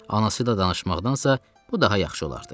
Anası ilə danışmaqdansa, bu daha yaxşı olardı.